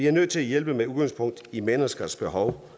er nødt til at hjælpe med udgangspunkt i menneskers behov